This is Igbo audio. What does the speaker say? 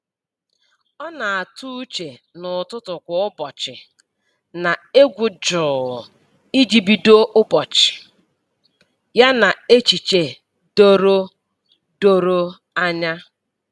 Ọ na-atụ uche n’ụtụtụ kwa ụbọchị na egwu jụụ iji bido ụbọchị ya n’echiche doro doro anya.